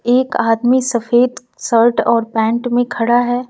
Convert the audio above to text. एक आदमी सफेद शर्ट और पैंट में खड़ा है।